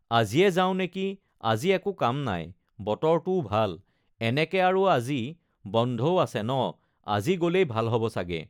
আজিয়ে যাওঁ নেকি আজি একো কাম নাই বতৰটোও ভাল এনেকে আৰু আজি বন্ধও আছে ন আজি গ'লেই ভাল হ'ব চাগে